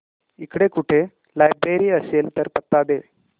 इकडे कुठे लायब्रेरी असेल तर पत्ता दे